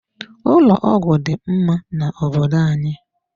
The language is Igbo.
Ụlọ ọgwụ dị mma na obodo anyị.